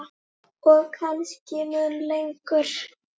Og kannski mun lengur.